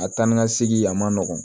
A taa ni ka segin a ma nɔgɔn